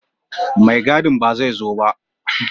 Maigadi ba zai zo ba